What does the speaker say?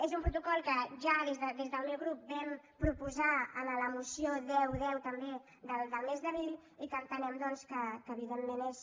és un protocol que ja des del meu grup vam proposar a la moció deu x també del mes d’abril i que entenem doncs que evidentment és